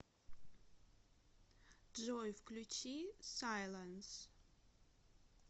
джой включи сайлэнс